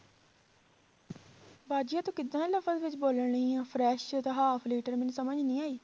ਬਾਜੀ ਆਹ ਤੂੰ ਕਿੱਦਾਂ ਦੇ ਲਫ਼ਜ਼ ਵਿੱਚ ਬੋੋਲਣ ਰਹੀ ਆਂ fresh ਤੇ half ਲੀਟਰ ਮੈਨੂੰ ਸਮਝ ਨੀ ਆਈ